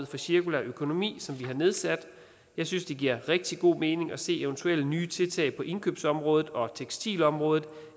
for cirkulær økonomi som vi har nedsat jeg synes det giver rigtig god mening at se eventuelle nye tiltag på indkøbsområdet og tekstilområdet